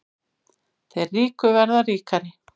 Þeir ríku verða ríkari